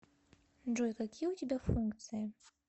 джой какие у тебя функции